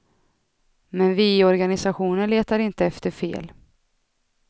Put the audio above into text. Men vi i organisationen letar inte efter fel.